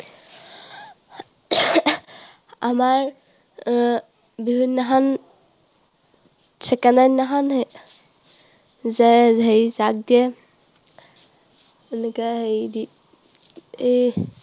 আমাৰ আহ বিহু দিনাখন, second ৰ দিনাখন যে হেৰি জাক দিয়ে, এনেকৈ হেৰি দি, এই